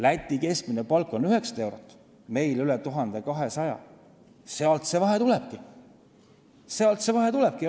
Läti keskmine palk on 900 eurot, meil on üle 1200 euro, sealt see vahe tulebki.